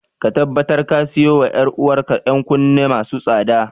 Ka tabbatar ka siyo wa ‘yar’uwar ka ‘yan kunne masu tsada.